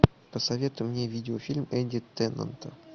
посоветуй мне видеофильм энди теннанта